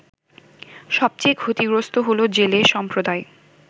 সবচেয়ে ক্ষতিগ্রস্ত হলো জেলে সম্প্রদায়